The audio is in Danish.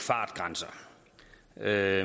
er